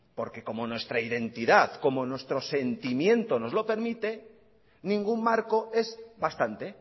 porque como nuestra identidad como nuestro sentimiento nos lo permite ningún marco es bastante